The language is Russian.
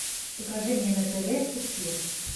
покажи мне на тв успех